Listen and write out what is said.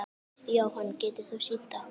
Jóhann: Getur þú sýnt okkur?